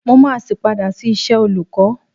Mó máa sì padà sí iṣẹ́ olùkọ́.